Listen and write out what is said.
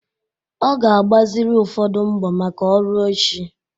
Ọ ga-agbaziri ụfọdụ mbọ maka ọrụ echi